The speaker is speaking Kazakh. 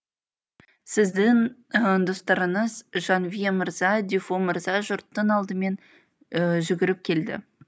сіздің достарыңыз жанвье мырза дюфо мырза жұрттың алдымен жүгіріп келді